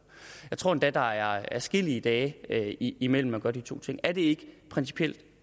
jeg tror endda der er adskillige dage imellem at man gør de to ting er det ikke principielt